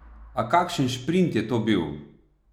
A kakšen šprint je to bil!